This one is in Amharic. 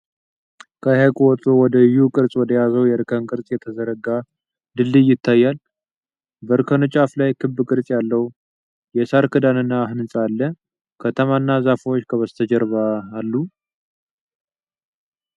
ከሐይቁ ወጥቶ ወደ ዩ ቅርፅ ወደያዘው የእርከን ቅርፅ የተዘረጋ ድልድይ ይታያል። በእርከኑ ጫፍ ላይ ክብ ቅርጽ ያለው የሳር ክዳንና ሕንፃ አለ። ከተማና ዛፎች ከበስተጀርባ አሉ።